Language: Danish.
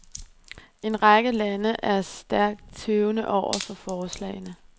En række lande er stærkt tøvende over for forslagene.